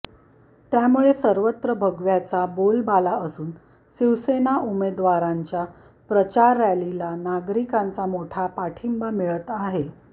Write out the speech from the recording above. त्यामुळे सर्वत्र भगव्याचा बोलबाला असून शिवसेना उमेदवारांच्या प्रचार रॅलीला नागरिकांचा मोठा पाठिंबा मिळत आहे